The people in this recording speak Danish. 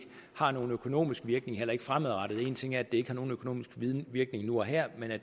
har nogen økonomisk virkning heller ikke fremadrettet en ting er at det ikke har nogen økonomisk virkning nu og her men det